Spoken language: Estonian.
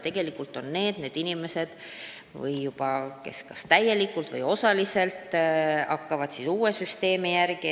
Tegelikult on ju just praegused noored need inimesed, kes kas täielikult või osaliselt hakkavad uue süsteemi järgi elama.